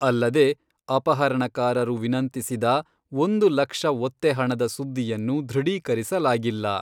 ಅಲ್ಲದೆ, ಅಪಹರಣಕಾರರು ವಿನಂತಿಸಿದ ಒಂದು ಲಕ್ಷ ಒತ್ತೆಹಣದ ಸುದ್ದಿಯನ್ನು ದೃಢೀಕರಿಸಲಾಗಿಲ್ಲ.